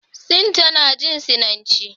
Sin tana jin Sinanci.